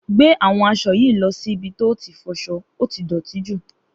Gbe àwọn aṣọ yi lo ṣì ibì to ti foso óti dọ̀tí jù